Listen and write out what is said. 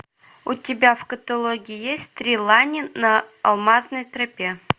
у тебя в каталоге есть три лани на алмазной тропе